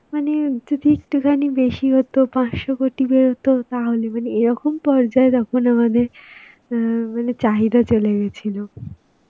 মানে যদি একটুখানি বেশি হতো পাঁচশ কোটি বেরোতো তাহলে মানে, এরকম পর্যায় তখন আমাদের অ্যাঁ মানে চাহিদা চলে গেছিল.